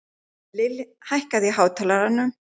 Lill, hækkaðu í hátalaranum.